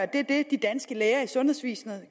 det de danske læger i sundhedsvæsenet